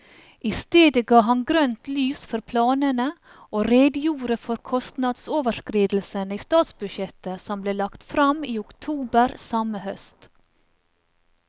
I stedet ga han grønt lys for planene, og redegjorde for kostnadsoverskridelsene i statsbudsjettet som ble lagt frem i oktober samme høst.